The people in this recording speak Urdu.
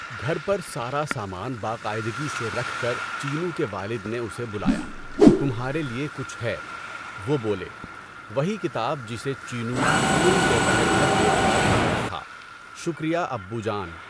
گھر پر سارا سامان باقاعدگی سے رکھ کر چینو کے والد نے اسے بلایا، تمہارے لئے کچھ ہے۔ وہ بولے، وہی کتاب جسے چینو پوری دوپہر بھر دیکھتا رہ گیا تھا۔ شکریہ ابو جان!